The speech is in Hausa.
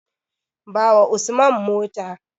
Bawa Usman mota.